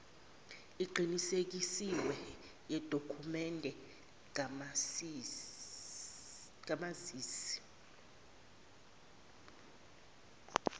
eqinisekisiwe yedokhumende kamazisi